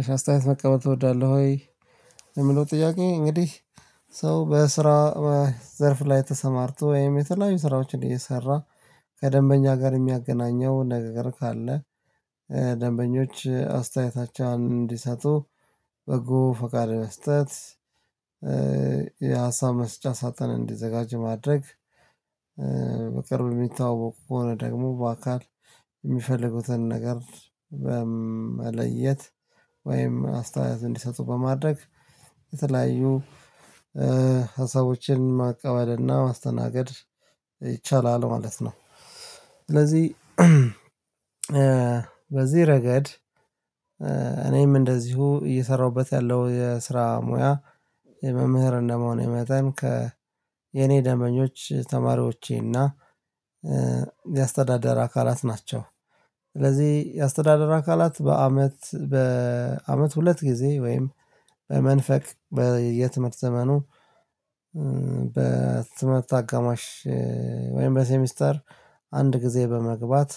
አስተያየት መቀበል ትወዳለህ ወይ? የሚለው ጥያቄ እንግዲህ ሰው በስራ በዘርፍ ላይ ተሰማርቶ ወይም የተለያዩ ስራዎችን እየሰራ ከደንበኛ ጋር የሚያገናኘው ነገር ካለ ደንበኞች አስተያየታቸውን እንዲሰጡ በጎ ፈቃድ መስጠት። የሀሳብ መስጫ ሳጥን እንዲዘጋጅ ማድረግ በቅርብ የሚታወቁ ከሆነ ደግሞ በአካል የሚፈልጉትን ነገር በመለየት ወይም አስተያየት እንዲሰጡ በማድረግ የተለያዩ ሀሳቦችን ማቀበልና ማስተናገድ ይቻላል ማለት ነው። ስለዚህ ረገድ እኔም እንደዚሁ እየሰራሁበት ያለው የስራ ሙያ የመምህር እንደመሆኔ መጠን ከ የኔ ደምበኞች ተማሪዎቼና የአስተዳደር አካላት ናቸው። ስለዚህ የአስተዳደር አካላት በአመት በአመት ሁለት ጊዜ ወይም በመንፈቅ በየትምህርት ዘመኑ በትምህርት አጋማሽ ወይም በሴሚስተር አንድ ጊዜ በመግባት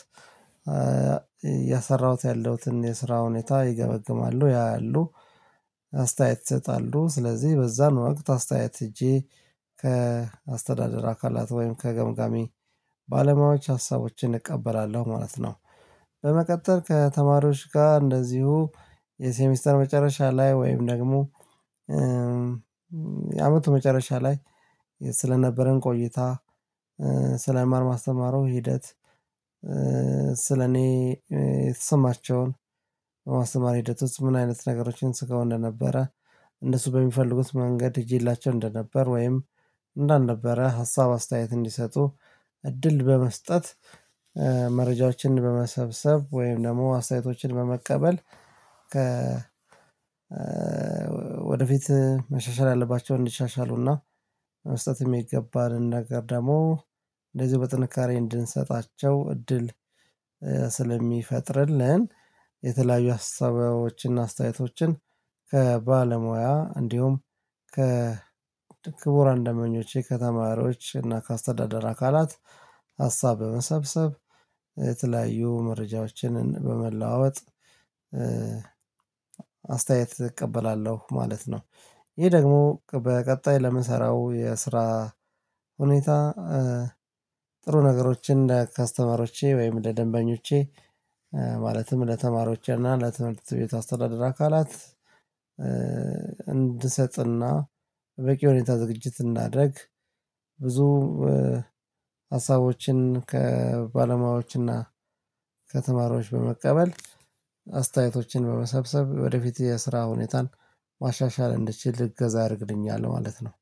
ያለሁትን የስራ ሁኔታ ይገመግማሉ ያ ያሉ አስተያየት ይሰጣሉ ስለዚህ በዛ ነው ወቅት አስተያየት ህጄ ከአስተዳደር አካላት ወይም ከገምጋሚ ባለሙያዎች ሀሳቦችን እቀበላለሁ ማለት ነው። በመቀጠል ከተማሪዎች ጋር እንደዚሁ የሴሚስተር መጨረሻ ላይ ወይም ደግሞ የአመቱ መጨረሻ ላይ ስለነበረን ቆይታ ስለማር ማስተማሩ ሂደት ስለኔ ስማቸውን በማስተማር ሂደቶች ምን አይነት ነገሮችን ስጋው እንደነበረ እንደሱ በሚፈልጉት መንገድ ይዤላቸው እንደነበር ወይም እንዳልነበረ ሀሳብ አስተያየት እንዲሰጡ እድል በመስጠት። መረጃዎችን በመሰብሰብ ወይም ደግሞ አስተያየቶችን በመቀበል ከ ወደፊት መሻሻል አለባቸውን እንዲሻሻሉና መስጠት የሚገባን ነገር ደግሞ እንደዚህ በጥንካሬ እንድንሰጣቸው እድል ስለሚፈጥርልን የተለያዩ አስተዋዮችን እና አስታያዮቶችን ከባለሙያ እንዲሁም ከክቡር ደምበኞቼ ከተማሪዎች እና ከአስተዳደር አካላት ሀሳብ በመሰብሰብ የተለያዩ መረጃዎችንን በመለዋወጥ አስተያየት እቀበላለው ማለት ነው። ይህ ደግሞ በቀጣይ ለምሰራው የስራ ሁኔታ ጥሩ ነገሮችን ለከስተመሮቼ ወይም ለደንበኞቼ ማለትም ለተማሪዎች እና ለትምህርት ቤት አስተዳደር አካላት እንድሰጥና በቂ ሁኔታ ዝግጅት እናድርግ። ብዙ ሀሳቦችን ከባለሙያዎችና ከተማሪዎች በመቀበል አስተያየቶችን በመሰብሰብ ወደፊት የስራ ሁኔታን ማሻሻል እንደችል እገዛ አድርግልኛል ማለት ነው።